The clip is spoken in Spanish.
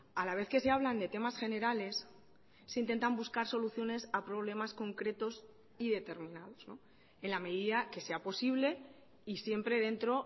a la vez que se hablan de temas generales se intentan buscar soluciones a problemas concretos y determinados en la medida que sea posible y siempre dentro